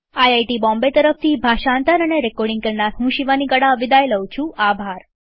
IIT Bombay તરફથી હું શિવાની ગડા વિદાય લઉં છુંઆભાર